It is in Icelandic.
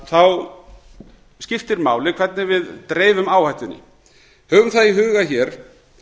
þá skiptir máli hvernig við dreifum áhættunni höfum það í huga hér